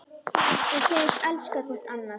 Og segjast elska hvort annað.